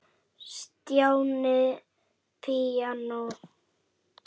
Stjáni píanó